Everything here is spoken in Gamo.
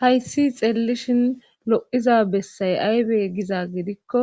hayssi xeellishin lo7iza bessay aybe giza gidikko